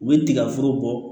U bɛ tigaforo bɔ